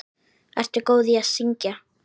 Ertu góð í að syngja?